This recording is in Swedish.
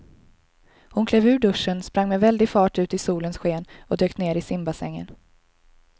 Hon klev ur duschen, sprang med väldig fart ut i solens sken och dök ner i simbassängen.